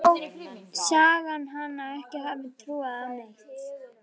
Þótt sagan segði hana ekki hafa trúað á neitt.